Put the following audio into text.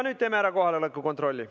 Nüüd teeme ära kohaloleku kontrolli.